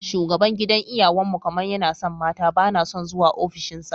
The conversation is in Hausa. Shugaban gidan iyawan mu kamar yana son mata, bana son zuwa ofishin sa.